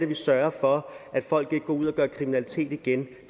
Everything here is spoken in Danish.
vi sørger for at folk ikke går ud og begår kriminalitet igen